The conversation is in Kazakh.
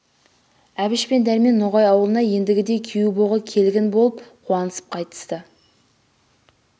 әбіш пен дөрмен ноғай ауылына ендігіде күйеу богі келгін болып қуанысып қайтысты